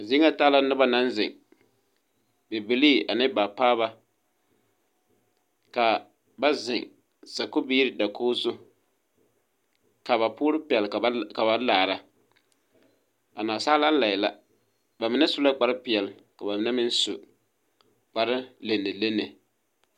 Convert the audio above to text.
Zie ŋa taa la nobɔ naŋ zeŋ bibilii ane baapaaba ka ba zeŋ sakubiire dakoge zu ka ba poɔrre pɛl ka ba laaraa naasaalaa lai la ba mine su la ka kpare peɛɛl ka ba mine meŋ su kpare lenelene.